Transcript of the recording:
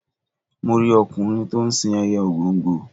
Mo rí ọkùnrin to ń sin ẹyẹ ògòǹgò.